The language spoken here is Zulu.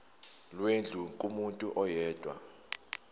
lwendlu kumuntu oyedwa